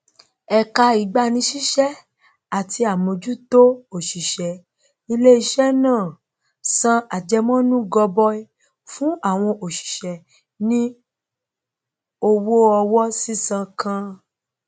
ẹka ìgbanisísẹ ati àmójútó òṣìṣẹ iléisẹ náà san àjẹmọnú gọbọí fún àwọn òṣìṣẹ ní ọwọ owó sísan kan